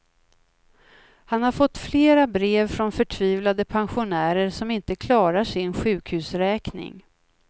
Han har fått flera brev från förtvivlade pensionärer som inte klarar sin sjukhusräkning.